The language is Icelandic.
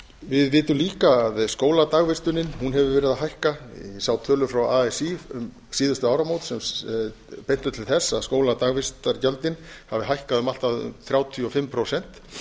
við vitum líka að skóladagvistun hefur verið að hækka ég sá tölur frá así um síðustu áramót sem bentu til þess að skóladagvistargjöldin hafi hækkað um allt að þrjátíu og fimm prósent